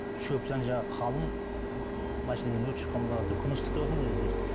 шөп жан жағы қалың машинадан өрт шыққан ба күн ыстық деватырмын ғой өзі бір